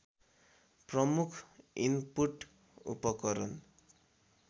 प्रमुख इनपुट उपकरण